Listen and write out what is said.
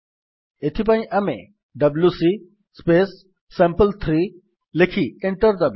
ସେଥିପାଇଁ ଆମେ ଡବ୍ଲ୍ୟୁସି ସାମ୍ପଲ୍3 ଲେଖି ଏଣ୍ଟର୍ ଦାବିବା